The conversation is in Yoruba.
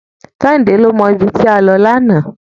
Kẹ́hìndé ló mọ ibi tí a lọ lánàá.